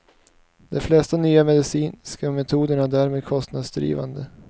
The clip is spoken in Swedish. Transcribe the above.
De flesta nya medicinska metoder är därmed kostnadsdrivande.